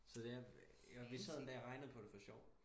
Så det vi sad en dag og regnede på det for sjov